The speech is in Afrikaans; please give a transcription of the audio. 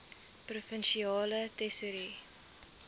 provinsiale tesourie